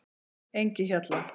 Engihjalla